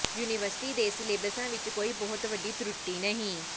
university ਦੇ ਸਿਲੇਬਸਾਂ ਵਿਚ ਕੋਈ ਬਹੁਤੀ ਵੱਡੀ ਤਰੁਟੀ ਨਹੀਂ